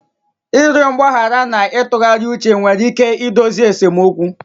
Ịrịọ mgbaghara na itughari uche nwere ike idozi esemokwu